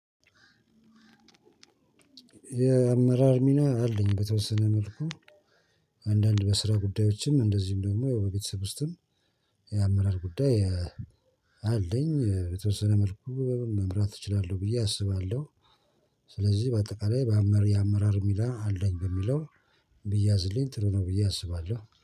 የአመራር ሚና አለኝ በተወሰነ መልኩ። አንዳንድ በስራ ጉዳዮችም እንደዚሁም ደግሞ ያው በቤተሰብ ውስጥም። የአመራር ጉዳይ አለኝ የተወሰነ መልኩ መምራት እችላለሁ ብዬ አስባለሁ። ስለዚህ በአጠቃላይ በአመር የአመራር ሚና አለኝ በሚለው ቢያዝልኝ ጥሩ ነው ብዬ አስባለሁ